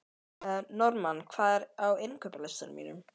Normann, hvað er á innkaupalistanum mínum?